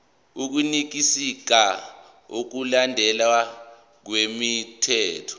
ukuqinisekisa ukulandelwa kwemithetho